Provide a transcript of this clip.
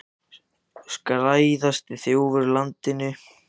Skæðasti þjófur á landinu og þó að víðar væri leitað!